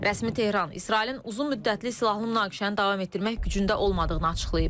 Rəsmi Tehran İsrailin uzunmüddətli silahlı münaqişəni davam etdirmək gücündə olmadığını açıqlayıb.